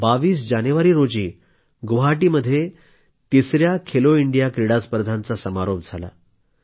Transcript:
22 जानेवारी रोजी गुवाहाटीमध्ये तिसया खेलो इंडिया क्रीडा स्पर्धांचा समारोप झाला